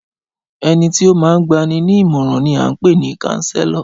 Ẹnití ó máa ń gbani ní ìmọ̀ràn ni à ń pè ni Káńsélọ̀